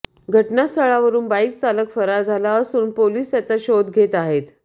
घटनास्थळावरून बाईक चालक फरार झाला असून पोलीस त्याचा शोध घेत आहेत